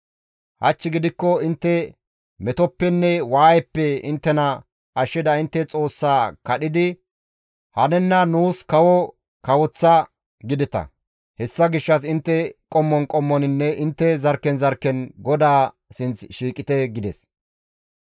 Hach gidikko intte metoppenne waayeppe inttena ashshida intte Xoossaa kadhidi, ‹Hanenna nuus kawo kawoththa› gideta. Hessa gishshas intte qommon qommoninne intte zarkken zarkken GODAA sinth shiiqite» gides.